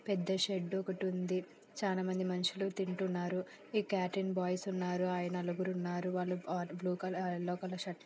పెద్ద షెడ్ ఒకటి ఉంది. చానా మంది మనుషులు తింటున్నారు. ఆ క్యాటరింగ్ బాయ్స్ ఉన్నారు ఆయి నలుగురు ఉన్నారు. వాళ్లు ఆ బ్లూ కలర్ ఆ ఎల్లో కలర్ షర్టు ----